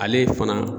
Ale fana